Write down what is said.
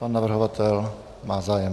Pan navrhovatel má zájem.